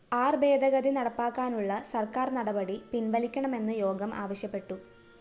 ആര്‍ ഭേദഗതി നടപ്പാക്കാനുള്ള സര്‍ക്കാര്‍ നടപടി പിന്‍വലിക്കണമെന്ന് യോഗം ആവശ്യപ്പെട്ടു